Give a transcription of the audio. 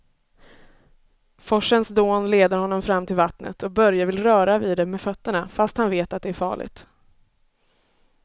Forsens dån leder honom fram till vattnet och Börje vill röra vid det med fötterna, fast han vet att det är farligt.